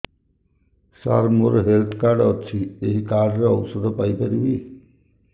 ସାର ମୋର health card ଅଛି ଏହି କାର୍ଡ ରେ ଔଷଧ ପାଇପାରିବି